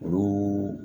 Olu